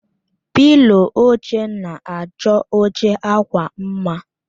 Pịlo oche na-achọ oche akwa mma